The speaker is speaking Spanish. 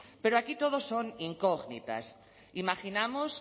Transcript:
pero aquí todo son incógnitas imaginamos